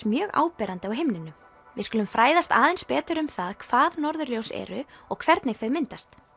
mjög áberandi á himninum við skulum fræðast aðeins betur um það hvað norðurljós eru og hvernig þau myndast